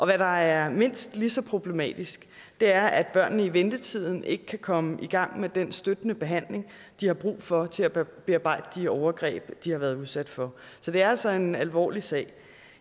hvad der er mindst lige så problematisk er at børnene i ventetiden ikke kan komme i gang med den støttende behandling de har brug for til at bearbejde de overgreb de har været udsat for så det er altså en alvorlig sag